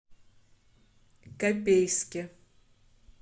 копейске